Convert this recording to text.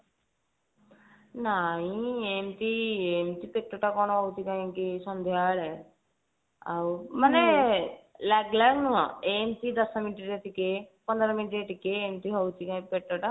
ନାଇଁ ଏମତି ଏମତି ପେଟ ଟା କଣ ହଉଛି କାଇଁ କି ସନ୍ଧ୍ଯା ବେଳେ ଆଉ ଆରେ ଲାଗଲାଗ ନୁହଁ ଏମତି ଦଶ minute ରେ ଟିକେ ପନ୍ଦର minute ରେ ଟିକେ ଏମତି ହଉଛି ଟିକେ କାଇଁ ପେଟଟା